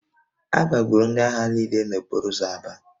A gbagburu ndị agha niile n'okporo ụzọ Aba